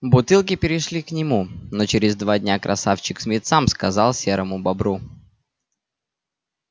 бутылки перешли к нему но через два дня красавчик смит сам сказал серому бобру